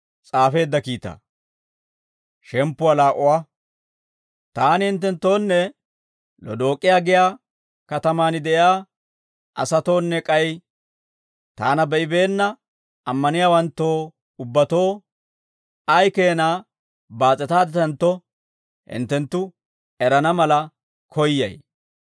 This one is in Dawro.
Taani hinttenttoonne Lodook'iyaa giyaa katamaan de'iyaa asatoonne k'ay taana be'ibeenna ammaniyaawanttoo ubbatoo ay keenaa baas'etaadditantto hinttenttu erana mala koyyay.